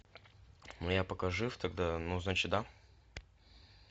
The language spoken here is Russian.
ну я пока жив тогда ну значит да